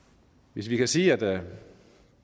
vi kan sige at